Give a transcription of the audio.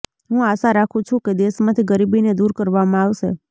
હું આશા રાખું છું કે દેશમાંથી ગરીબીને દૂર કરવામાં આવશે